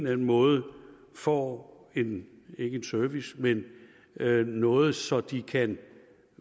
anden måde får ikke en service men noget så de kan